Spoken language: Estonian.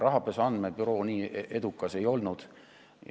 Rahapesu andmebüroo nii edukas ei olnud.